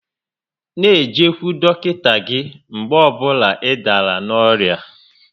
N'ejekwu dọkịta gị mgbe ọ bụla ị dàrà n'orịa